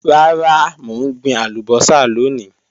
Rara, mo n gbin alubosa loni.